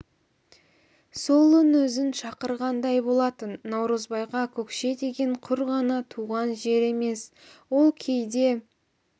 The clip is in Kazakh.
сол үн өзін шақырғандай болатын наурызбайға көкше деген құр ғана туған жер емес ол кейде